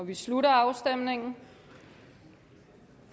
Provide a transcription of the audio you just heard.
vi slutter afstemningen